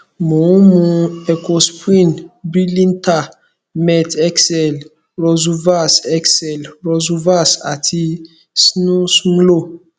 mo ń mu ecosprin brilinta met xl rosuvas xl rosuvas àti snumlo